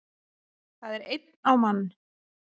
Það er einn á mann